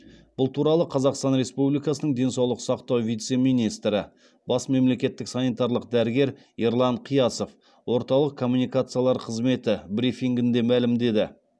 бұл туралы қазақстан республикасының денсаулық сақтау вице министрі бас мемлекеттік санитарлық дәрігер ерлан қиясов орталық коммуникациялар қызметі брифингінде мәлімдеді